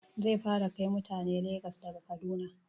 Zai fara kai mutane Legas daga Kaduna